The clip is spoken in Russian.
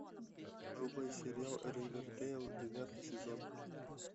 врубай сериал ривердейл девятый сезон